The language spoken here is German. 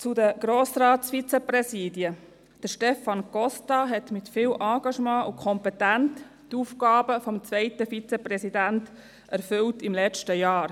Zu den Grossratsvizepräsidien: Stefan Costa erfüllte mit viel Engagement und Kompetenz die Aufgaben des zweiten Vizepräsidenten während des letzten Jahres.